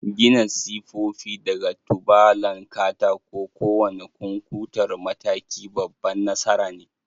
Gina sifofi daga tubalan katako: kowane kunkuntar mataki babban nasara ne